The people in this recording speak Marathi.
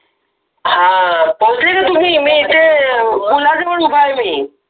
हा पोहोचले का तुम्ही? मी इथे पुलाजवळ उभा आहे मी